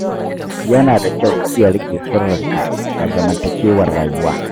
Yana da kyau ka iya riƙe sirrinka a zamantakewar rayuwa.